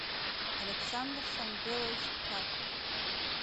александр самвелович карпов